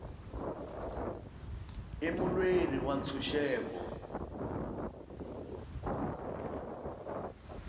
i mulweri wa ntshuxeko